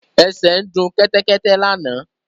Ẹsẹ ń du Kẹ́tẹ́kẹ́tẹ́ lànà.